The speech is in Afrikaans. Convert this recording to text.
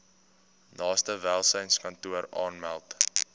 naaste welsynskantoor aanmeld